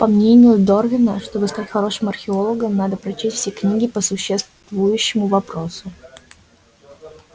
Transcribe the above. по мнению дорвина чтобы стать хорошим археологом надо прочесть все книги по существующему вопросу